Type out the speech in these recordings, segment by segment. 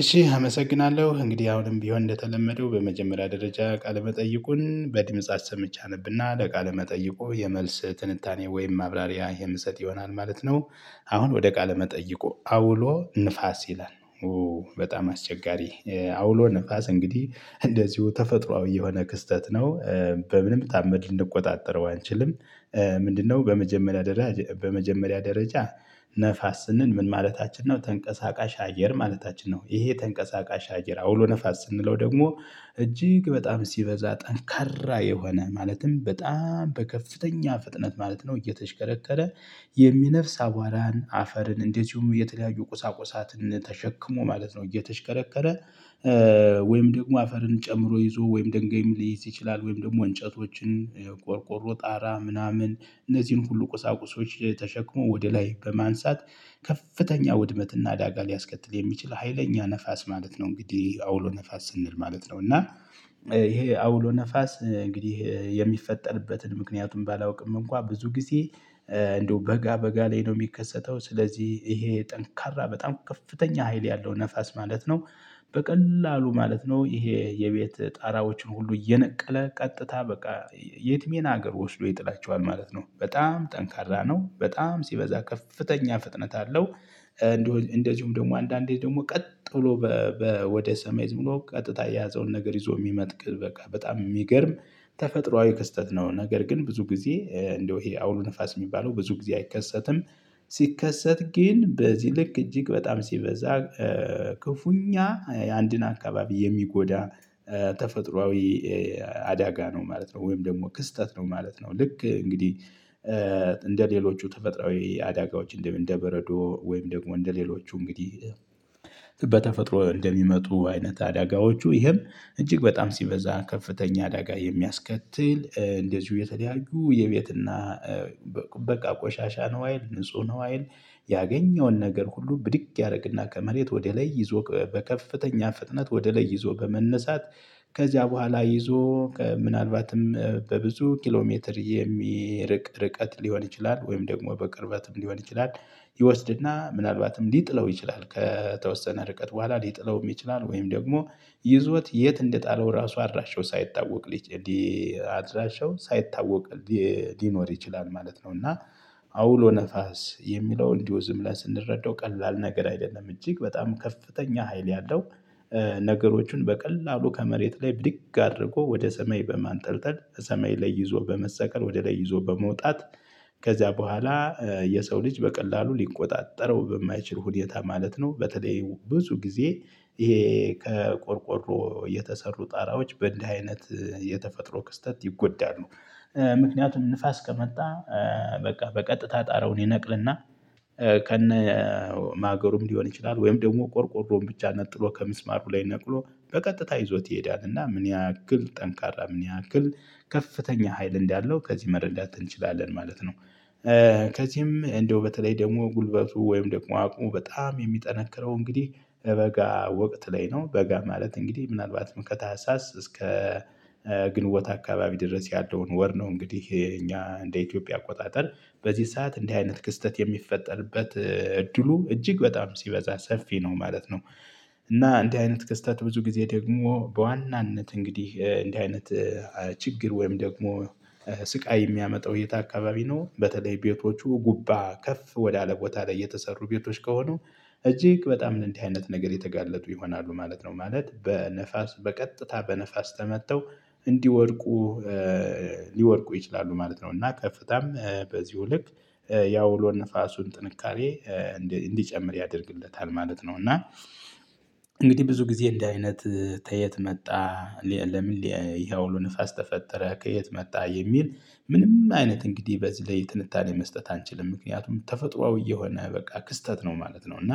እሺ አመሰግናለሁ እንግዲህ አሁንም ቢሆን እንደተለመደው በመጀመሪያ ደረጃ ቃለ መጠይቁን በድምጽ አሰምቼ አነብና ለቃለ መጠይቁ የመልስ ትንታኔ ወይም ማብራሪያ የምሰጥ ይሆናል ማለት ነው። አሁን ወደ ቃለ መጠይቆ አውሎ ንፋስ ይላል። በጣም አስቸጋሪ አውሎ ንፋስ እንግዲህ እንደዚሁ ተፈጥሮአዊ የሆነ ክስተት ነው። በምንም ተአምር ልንቆጣጠረው አንችልም። ምንድነው? በመጀመሪያ በመጀመሪያ ደረጃ ነፋስ ስንል ምን ማለታችን ነው ተንቀሳቃሽ አገር ማለታችን ነው። ይሄ ተንቀሳቃሽ አየር አውሎ ነፋስ ስንለው ደግሞ እጅግ በጣም ሲበዛ ጠንካራ የሆነ ማለትም በጣም በከፍተኛ ፍጥነት ማለት ነው። እየተሽከረከረ የሚነፍስ አቧራን አፈርን እንደዚሁም የተለያዩ ቁሳቁሳትን ተሸክሞ ማለት ነው። እየተሽከረከረ ወይም ደግሞ አፈርን ጨምሮ ይዞ ወይም ድንገይም ሊይዝ ይችላል ወይም ደግሞ እንጨቶችን ቆርቆሮ ጣራ ምናምን እነዚህን ሁሉ ቁሳቁሶች ተሸክሞ ወደ ላይ በማንሳት ከፍተኛ ውድመትና አደጋ ሊያስከትል የሚችል ሀይለኛ ነፋስ ማለት ነው። እንግዲህ አውሎ ነፋስ ስንል ማለት ነው። እና ይሄ አውሎ ነፋስ እንግዲህ የሚፈጠርበትን ምክንያቱም ባላውቅም እንኳን ብዙ ጊዜ እንደው በጋ በጋ ላይ ነው የሚከሰተው ስለዚህ ይሄ ጠንካራ በጣም ከፍተኛ ሀይል ያለው ነፋስ ማለት ነው። በቀላሉ ማለት ነው ይሄ የቤት ጣራዎችን ሁሉ እየነቀለ ቀጥታ በቃ የትሜን ሀገር ወስዶ ይጥላቸዋል ማለት ነው። በጣም ጠንካራ ነው በጣም ሲበዛ ከፍተኛ ፍጥነት አለው። እንደዚሁም ደግሞ አንዳንዴ ደግሞ ቀጥ ብሎ ወደ ሰሜን ዝም ብሎ ቀጥታ የያዘውን ነገር ይዞ የሚመጥቅህ በቃ በጣም የሚገርም ተፈጥሮአዊ ክስተት ነው። ነገር ግን ብዙ ጊዜ እንደው ይሄ አውሎ ንፋስ የሚባለው ብዙ ጊዜ አይከሰትም። ሲከሰት ግን በዚህ ልክ እጅግ በጣም ሲበዛ ክፉኛ የአንድን አካባቢ የሚጎዳ ተፈጥሮአዊ አዳጋ ነው። ማለት ነው ወይም ደግሞ ክስተት ነው ማለት ነው። ልክ እንግዲህ። እንደሌሎቹ ተፈጥሮአዊ አዳጋዎች እንደምን እንደበረዶ ወይም ደግሞ እንደሌሎቹ እንግዲህ በተፈጥሮ እንደሚመጡ አይነት አዳጋዎቹ ይሄም እጅግ በጣም ሲበዛ ከፍተኛ አዳጋ የሚያስከትል እንደዚሁ የተደያዩ የቤትና በቃ ቆሻሻ ነው። አይል ንጹህ ነው አይል ያገኘውን ነገር ሁሉ ብድግ ያደርግና ከመሬት ወደ ላይ ይዞ በከፍተኛ ፍጥነት ወደ ላይ ይዞ በመነሳት ከዚያ በኋላ ይዞ ምናልባትም በብዙ ኪሎ ሜትር የሚርቅ ርቀት ሊሆን ይችላል ወይም ደግሞ በቅርበትም ሊሆን ይችላል። ይወስድና ምናልባትም ሊጥለው ይችላል ከተወሰነ ርቀት በኋላ ሊጥለውም ይችላል ወይም ደግሞ ይዞት የት እንደጣለው ራሱ አድራሸው ሳይታወቅ ልጅ አድራሸው ሳይታወቅ ሊኖር ይችላል ማለት ነው። እና አውሎ ነፋስ የሚለው እንዲህ ዝም ላይ ስንረዳው ቀላል ነገር አይደለም እጅግ በጣም ከፍተኛ ሀይል ያለው። ነገሮችን በቀላሉ ከመሬት ላይ ብድግ አድርጎ ወደ ሰሜን በማንጠልጠል ሰሜን ላይ ይዞ በመሰቀል ወደ ላይ ይዞ በመውጣት ከዚያ በኋላ የሰው ልጅ በቀላሉ ሊቆጣጠረው በማይችል ሁኔታ ማለት ነው። በተለይ ብዙ ጊዜ ይሄ ከቆርቆሮ የተሰሩ ጣራዎች በእንዲህ አይነት የተፈጥሮ ክስተት ይጎዳሉ። ምክንያቱም ንፋስ ከመጣ በቃ በቀጥታ ጣረውን ይነቅልና ከነ ማገሩም ሊሆን ይችላል ወይም ደግሞ ቆርቆሮን ብቻ ነጥሎ ከሚስማሩ ላይ ነቅሎ በቀጥታ ይዞት ይሄዳል እና ምን ያክል ጠንካራ ምን ያክል ከፍተኛ ሀይል እንዳለው ከዚህ መረዳት እንችላለን ማለት ነው። ከዚህም እንደው በተለይ ደግሞ ጉልበቱ ወይም ደግሞ አቅሙ በጣም የሚጠነክረው እንግዲህ በጋ ወቅት ላይ ነው በጋ ማለት እንግዲህ ምናልባትም ከታህሳስ እስከ ግንቦት አካባቢ ድረስ ያለውን ወር ነው እንግዲህ እኛ እንደ ኢትዮጵያ አቆጣጠር በዚህ ሰዓት እንደ አይነት ክስተት የሚፈጠርበት እድሉ እጅግ በጣም ሲበዛ ሰፊ ነው ማለት ነው። እና እንዲህ አይነት ክስተት ብዙ ጊዜ ደግሞ በዋናነት እንግዲህ እንዲህ አይነት ችግር ወይም ደግሞ ስቃይ የሚያመጣው የት አካባቢ ነው በተለይ ቤቶቹ ጉባ ከፍ ወዳለ ቦታ ላይ የተሰሩ ቤቶች ከሆኑ እጅግ በጣም ለእንደህ አይነት ነገር የተጋለጡ ይሆናሉ ማለት ነው። ማለት በነፋስ በቀጥታ በነፋስ ተመተው እንዲወድቁ ሊወድቁ ይችላሉ ማለት ነው። እና ከፍታም በዚሁ ልክ ያው አውሎ ንፋሱን ጥንካሬ እንዲጨምር ያደርግለታል ማለት ነው። እና እንግዲህ ብዙ ጊዜ እንዲ አይነት ተየት መጣ ለምን? አውሎ ንፋስ ተፈጠረ ከየት መጣ የሚል ምንም አይነት እንግዲህ በዚህ ላይ ትንታኔ መስጠት አንችልም። ምክንያቱም ተፈጥሮአዊ የሆነ በቃ ክስተት ነው ማለት ነው። እና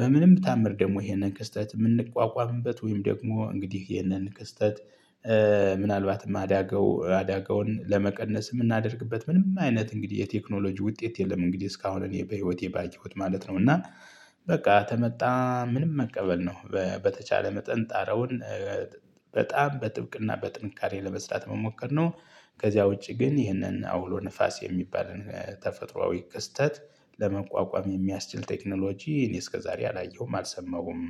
በምንም ታምር ደግሞ ይሄንን ክስተት የምንቋቋምበት ወይም ደግሞ እንግዲህ ይህንን ክስተት ምናልባትም አዳገው አዳገውን ለመቀነስ የምናደርግበት ምንም አይነት እንግዲህ የቴክኖሎጂ ውጤት የለም። እንግዲህ እስካሁን እኔ በህይወቴ ባየሁት ማለት ነው። እና በቃ ተመጣ ምንም መቀበል ነው በተቻለ መጠን ጣረውን በጣም በጥብቅና በጥንካሬ ለመስራት መሞከር ነው። ከዚያ ውጪ ግን ይህንን አውሎ ንፋስ የሚባልን ተፈጥሮአዊ ክስተት ለመቋቋም የሚያስችል ቴክኖሎጂ እኔ እስከ ዛሬ አላየሁም አልሰማሁም